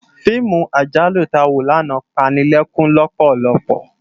Fiimú àjálú tá wó làná pá ni lèkún lòpòlòpò